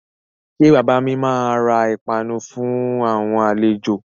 Ṣé bàbà mi máa ra ìpanu fún àwọn àlejò?